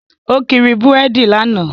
Ó kiri búrèdì lánàá